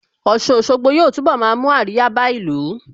Ọ̀sun Òṣogbo yóò túnbọ̀ máa mú àríyá bá ìlú